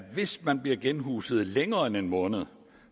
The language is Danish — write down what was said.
hvis man bliver genhuset længere end en måned